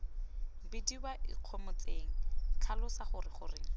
bidiwe ikgomotseng tlhalosa gore goreng